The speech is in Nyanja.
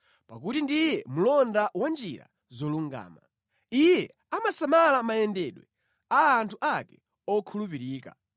pakuti ndiye mlonda wa njira zolungama. Iye amasamala mayendedwe a anthu ake okhulupirika.